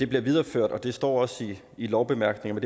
bliver videreført det står også i lovbemærkningerne